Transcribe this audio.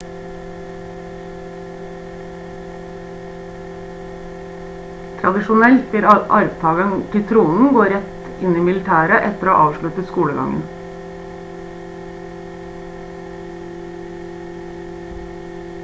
tradisjonelt vil arvtageren til tronen gå rett inn i militæret etter å ha avsluttet skolegangen